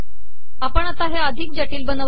आपण आता अिधक जिटल बनवले